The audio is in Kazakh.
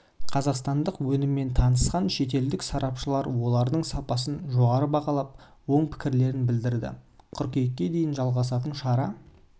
қазақстандық өніммен танысқан шетелдік сарапшылар олардың сапасын жоғары бағалап оң пікірлерін білдірді қыркүйекке дейін жалғасатын шара